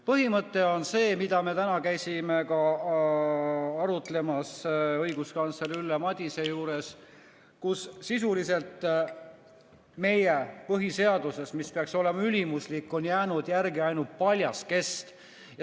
Põhimõte on see, mida me täna käisime ka arutlemas õiguskantsler Ülle Madise juures, et sisuliselt meie põhiseadusest, mis peaks olema ülimuslik, on jäänud järele ainult paljas kest.